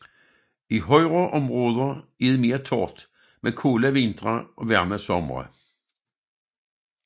I højere områder er det mere tørt med kolde vintre og varme somre